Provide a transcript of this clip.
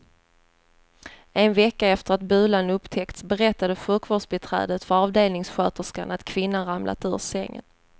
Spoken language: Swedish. En vecka efter att bulan upptäckts berättade sjukvårdsbiträdet för avdelningssköterskan att kvinnan ramlat ur sängen.